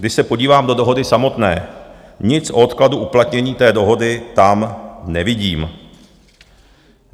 Když se podívám do dohody samotné, nic o odkladu uplatnění té dohody tam nevidím.